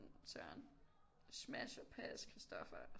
Søren smash or pass Christopher